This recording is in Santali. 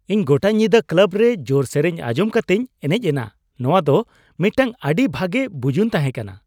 ᱤᱧ ᱜᱚᱴᱟ ᱧᱤᱫᱟᱹ ᱠᱞᱟᱵ ᱨᱮ ᱡᱳᱨᱮ ᱥᱮᱨᱮᱧ ᱟᱸᱡᱚᱢ ᱠᱟᱛᱮᱧ ᱮᱱᱮᱡ ᱮᱱᱟ ᱾ ᱱᱚᱣᱟ ᱫᱚ ᱢᱤᱫᱴᱟᱝ ᱟᱹᱰᱤ ᱵᱷᱟᱜᱮ ᱵᱩᱡᱩᱱ ᱛᱟᱦᱮᱠᱟᱱᱟ ᱾